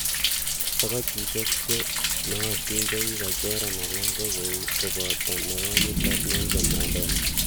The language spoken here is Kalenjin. Togochisiek che nootin chekikochoran alan ko kou koboto Nekonyitot Nelson Mandela.